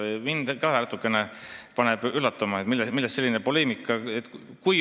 Mind ka natukene üllatab, et millest selline poleemika.